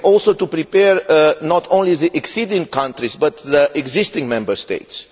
We have also to prepare not only the acceding countries but also the existing Member States.